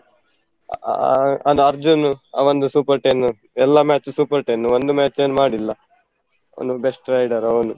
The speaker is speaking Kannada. ಅಹ್ ಅದ್ ಅರ್ಜುನ್ ಅವಂದು super ten ಎಲ್ಲ match super ten ಒಂದು match ಅವನು ಮಾಡಿಲ್ಲ ಅವನು best rider ಅವನು.